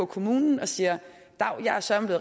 kommunen og siger dav jeg er søreme